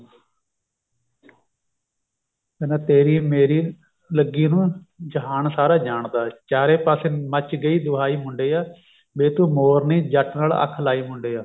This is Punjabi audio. ਕਹਿੰਦਾ ਤੇਰੀ ਮੇਰੀ ਲੱਗੀ ਨੂੰ ਜਹਾਨ ਸਾਰਾ ਜਾਣਦਾ ਚਾਰੇ ਪਾਸੇ ਮੱਚ੍ਹ ਗਈ ਦੁਹਾਈ ਮੁੰਡਿਆ ਵੇ ਤੂੰ ਮੋਰਨੀ ਜੱਟ ਅੱਖ ਨਾਲ ਲਾਈ ਮੁੰਡਿਆ